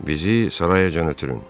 Bizi sarayacan ötürün.